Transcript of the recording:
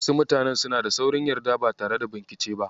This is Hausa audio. Wasu mutanen suna da saurin yarda ba tare da binkice ba.